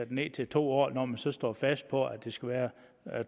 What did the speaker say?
den ned til to år når man så står fast på at det skal være